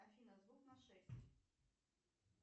афина звук на шесть